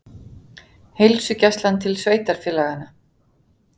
Heilsugæslan til sveitarfélaganna